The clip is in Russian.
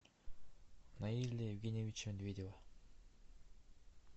наиля евгеньевича медведева